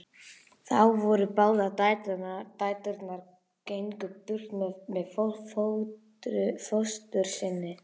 Þá voru báðar dæturnar gengnar burt með fóstru sinni.